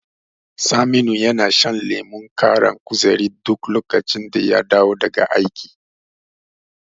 Saminu yana shan lemon ƙara kuzari duk lokacin da ya dawo daga aiki.